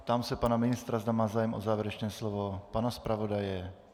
Ptám se pana ministra, zda má zájem o závěrečné slovo, pana zpravodaje?